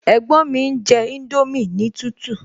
Ẹ̀gbọ́n mi ń jẹ indomie ní tútù